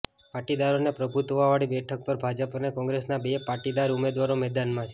પાટીદારોના પ્રભુત્વવાળી બેઠક પર ભાજપ અને કોંગ્રેસના બે પાટીદાર ઉમેદવારો મેદાનમાં છે